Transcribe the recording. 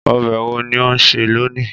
Ọbẹ wo ni o n se loni?